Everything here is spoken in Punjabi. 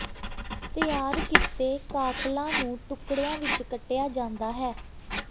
ਤਿਆਰ ਕੀਤੇ ਕਾਕਲਾਂ ਨੂੰ ਟੁਕੜਿਆਂ ਵਿੱਚ ਕੱਟਿਆ ਜਾਂਦਾ ਹੈ